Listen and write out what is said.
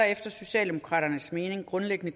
efter socialdemokraternes mening grundlæggende